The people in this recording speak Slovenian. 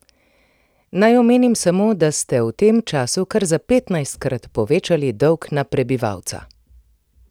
Naj omenim samo, da ste v tem času kar za petnajstkrat povečali dolg na prebivalca!